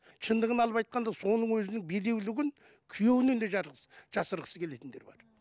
шындығын алып айтқанда соның өзінің бедеулігін күйеуінен де жасырғысы келетіндер бар